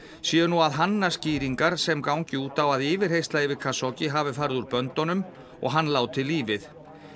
séu nú að hanna skýringar sem gangi út á að yfirheyrsla yfir hafi farið úr böndunum og hann látið lífið